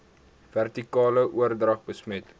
vertikale oordrag besmet